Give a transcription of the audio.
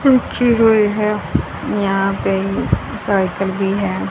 हुए है यहां पे साइकिल भी है।